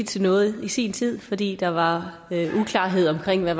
til noget i sin tid fordi der var uklarhed omkring hvad